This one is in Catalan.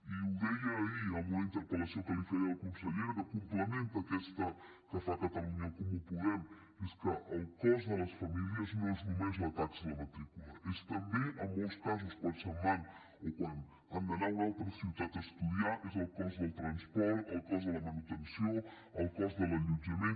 i ho deia ahir en una interpel·lació que li feia a la consellera que complementa aquesta que fa catalunya en comú podem que és que el cost de les famílies no és només la taxa de la matrícula és també en molts casos quan se’n van o quan han d’anar a una altra ciutat a estudiar és el cost del transport el cost de la manutenció el cost de l’allotjament